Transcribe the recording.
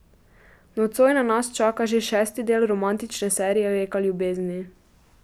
Nocoj na nas čaka že šesti del romantične serije Reka ljubezni.